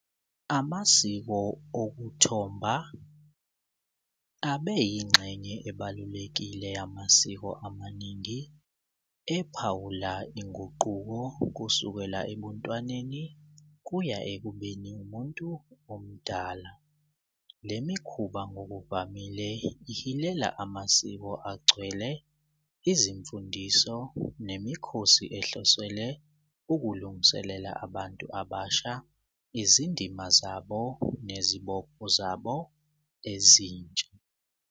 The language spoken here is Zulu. Amasiko okuthomba abe yingxenye ebalulekile yamasiko amaningi ephawula inguquko kusukela ebuntwaneni kuya ekubeni umuntu omdala. Le mikhuba ngokuvamile ihilela amasiko agcwele izimfundiso nemikhosi ehlosele ukulungiselela abantu abasha, izindima zabo nezibopho zabo ezintsha.